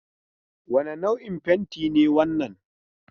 Wane nau'in fentin ne wannan?